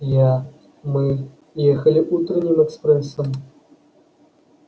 я мы ехали утренним экспрессом